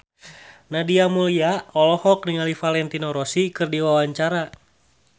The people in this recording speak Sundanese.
Nadia Mulya olohok ningali Valentino Rossi keur diwawancara